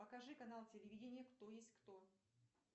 покажи канал телевидение кто есть кто